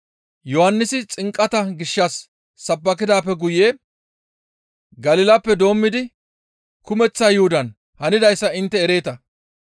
Yohannisi xinqata gishshas sabbakidaappe guye Galilappe doommidi kumeththa Yuhudan hanidayssa intte ereeta.